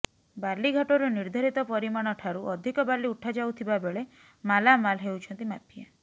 ବାଲି ଘାଟରୁ ନିର୍ଦ୍ଧାରିତ ପରିମାଣଠାରୁ ଅଧିକ ବାଲି ଉଠାଯାଉଥିବା ବେଳେ ମାଲାମାଲ୍ ହେଉଛନ୍ତି ମାଫିଆ